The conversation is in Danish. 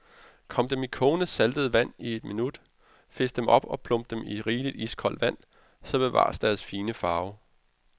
Kom dem i kogende saltet vand i et minut, fisk dem op og plump dem i rigeligt iskoldt vand, så bevares deres fine farve.